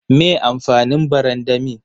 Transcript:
Me amfanin barandami?